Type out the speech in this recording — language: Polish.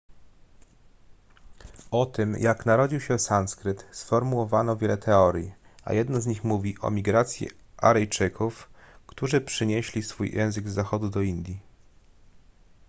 o tym jak narodził się sanskryt sformułowano wiele teorii a jedna z nich mówi o migracji aryjczyków którzy przynieśli swój język z zachodu do indii